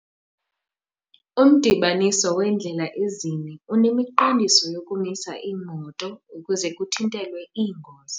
Umdibaniso weendlela ezine unemiqondiso yokumisa iimoto ukuze kuthintelwe iingozi.